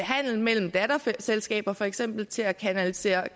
handel mellem datterselskaber for eksempel til at kanalisere